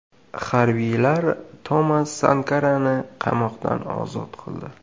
Harbiylar Tomas Sankarani qamoqdan ozod qildi.